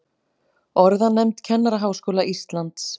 Orðanefnd Kennaraháskóla Íslands.